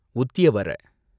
உத்யவர